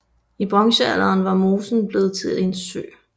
I bronzealderen var mosen blevet til en sø